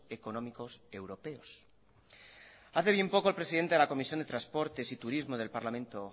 económicos europeos hace bien poco el presidente de la comisión de transportes y turismo del parlamento